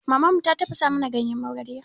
Maman mu ta tafasa mana ganyen magarya.